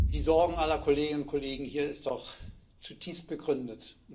Die Sorge aller Kolleginnen und Kollegen hier ist doch zutiefst begründet.